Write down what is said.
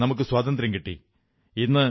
1947ൽ നമുക്കു സ്വാതന്ത്ര്യം കിട്ടി